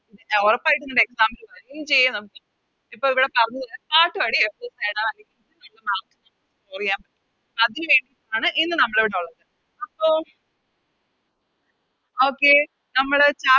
ഒറപ്പായിട്ടും ഇത് Exam ന് വരും ചെയ്യും ഇപ്പൊ ഇവിടെ പറഞ്ഞത് അതിന് വേണ്ടീട്ടാണ് ഇന്ന് നമ്മളിവിടെ ഉള്ളത് അപ്പൊ Okay നമ്മള്